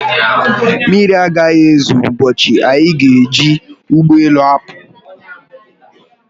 Mmiri agaghị ezo ụbọchị anyị ga-eji ụgbọelu apụ